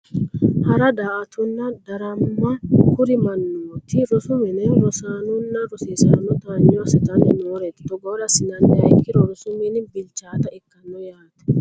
Hara daa"attonna darama kuri mannooti rosu mine rosaanonna rosiisanno taanyo assitanni nooreeti togoore assinanniha ikkiro rosu mini bilchaata ikkanno yaate